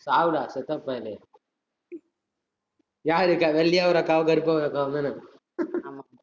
சாவுடா, செத்த பயலே. யார் இருக்கா வெள்ளையா ஒரு அக்காவும் கருப்பா ஒரு அக்காவும் தான